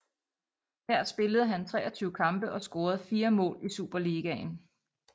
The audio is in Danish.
Her spillede han 23 kampe og scorede 4 mål i Superligaen